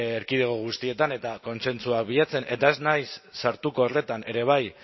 erkidego guztietan eta kontsentsuak bilatzen eta ez naiz sartuko horretan ere bai